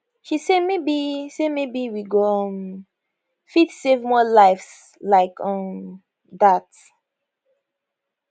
she say maybe say maybe we go um fit save more lives like um dat